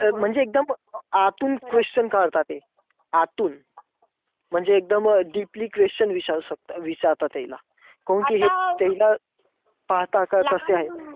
म्हणजे एकदम आतून question काढता ते. आतून म्हणजे एकदम deeply question विचारू शकता अं विचारता त्याला. काऊन कि हे त्याला पाहता का कसंय,